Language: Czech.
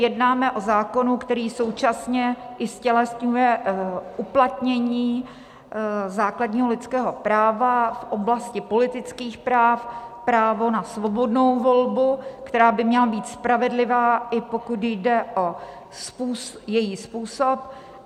Jednáme o zákonu, který současně i ztělesňuje uplatnění základního lidského práva v oblasti politických práv, právo na svobodnou volbu, která by měla být spravedlivá, i pokud jde o její způsob.